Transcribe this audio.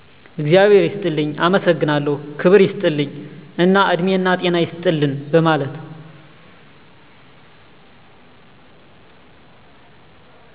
እግዛብሔር ይስጥልኝ፣ አመሠግናለሁ፣ ክብር ይስጥልኝ እና እድሜናጤና ይስጥልን በመለት